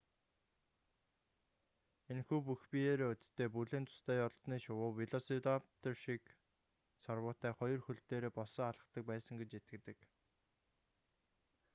энэхүү бүх биеэрээ өдтэй бүлээн цустай олзны шувуу велосираптор шиг сарвуутай хоёр хөл дээрээ босоо алхдаг байсан гэж итгэдэг